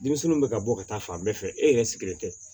Denmisɛnninw bɛ ka bɔ ka taa fan bɛɛ fɛ e yɛrɛ sigilen tɛ